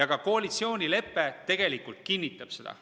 Ka koalitsioonilepe tegelikult kinnitab seda.